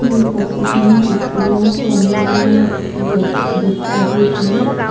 এই ফটো খনত স্কুল ৰ প্ৰ'গেম ৰ ষ্টেজ ত দেখা গৈছে তা--